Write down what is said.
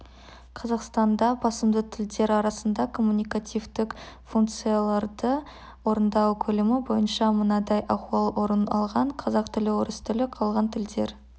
қазақстанда басымды тілдер арасында коммуникативтік функцияларды орындау көлемі бойынша мынадай ахуал орын алған қазақ тілі орыс тілі қалған тілдер